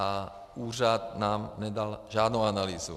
A úřad nám nedal žádnou analýzu.